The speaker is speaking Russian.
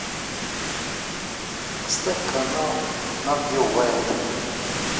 поставь канал нат гео вайлд